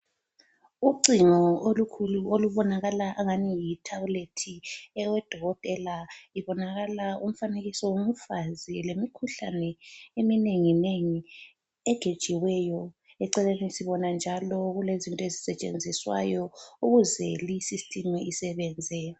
Ucingo olukhulu olubonakala angani yithawulethi eyodokotela ibonakala umfanekiso womfazi lemikhuhlane eminenginengi egejiweyo. Eceleni sibona njalo kulezinto ezisetshenziswayo ukuze lisistimu isebenze.